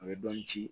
A bɛ dɔɔnin ci